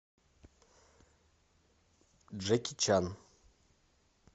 джеки чан